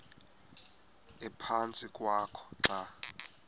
ephantsi kwakho xa